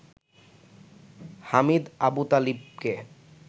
Hamid আবুতালেবিকে